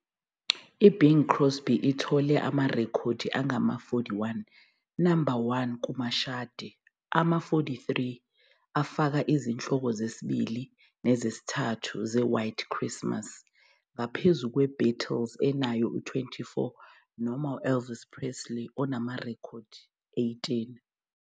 IBing Crosby ithole amarekhodi angama-41 No. 1 kumashadi, ama-43 afaka izihloko zesibili nezesithathu ze- "White Christmas", ngaphezulu kweThe Beatles enayo, 24, no-Elvis Presley onamarekhodi, 18.